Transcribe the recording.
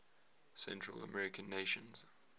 central american nations